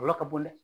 Kɔlɔlɔ ka bon dɛ